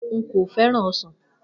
Nko feran osan.